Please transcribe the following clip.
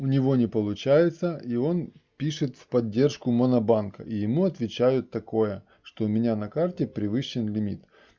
у него не получается и он пишет в поддержку монобанка и ему отвечают такое что у меня на карте превышен лимит